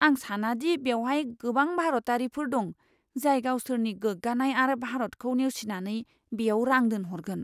आं साना दि बेवहाय गोबां भारतारिफोर दं, जाय गावसोरनि गोग्गानाय आरो भारतखौ नेवसिनानै बेयाव रां दोनहरगोन।